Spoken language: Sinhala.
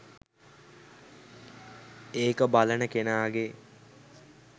ඒක බලන කෙනාගේ.